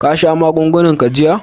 Kasha magunguna ka jiya?